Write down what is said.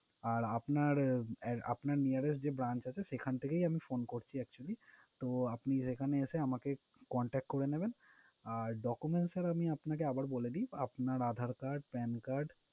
আর আপনার আপনার nearest যে branch আছে সেখান থেকেই আমি phone করছি actually । তো আপনি এখানে এসে আমাকে contact করে নিবেন। আর documents sir আমি আপনাকে আবার বলে দিই। আপনার Aadhar card, pan card